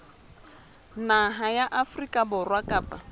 naha ya afrika borwa kapa